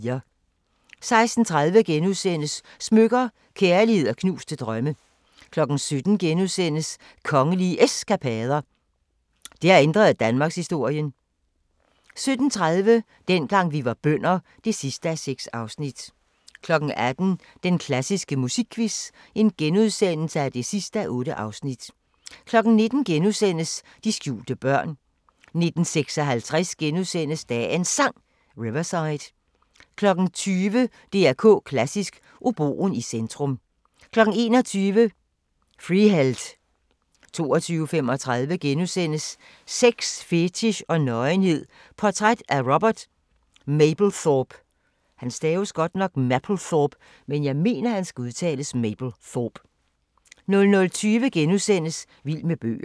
16:30: Smykker – Kærlighed & knuste drømme * 17:00: Kongelige Eskapader – der ændrede danmarkshistorien (4:4)* 17:30: Dengang vi var bønder (6:6) 18:00: Den klassiske musikquiz (8:8)* 19:00: De skjulte børn * 19:56: Dagens Sang: Riverside * 20:00: DR K Klassisk: Oboen i centrum 21:00: Freeheld 22:35: Sex, fetich og nøgenhed – portræt af Robert Mapplethorpe * 00:20: Vild med bøger *